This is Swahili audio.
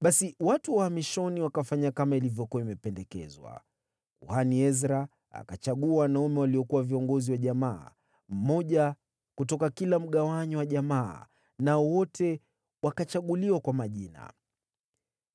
Basi watu wa uhamishoni wakafanya kama ilivyokuwa imependekezwa. Kuhani Ezra akachagua wanaume waliokuwa viongozi wa jamaa, mmoja kutoka kila mgawanyo wa jamaa, nao wote wakachaguliwa kwa majina.